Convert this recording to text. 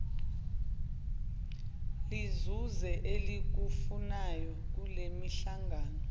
lizuze elikufunayo kulemihlangano